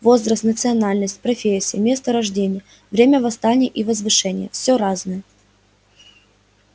возраст национальность профессия место рождения время восстания и возвышения всё разное